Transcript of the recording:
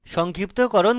সংক্ষিপ্তকরণ করি